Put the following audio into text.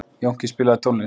Jónki, spilaðu tónlist.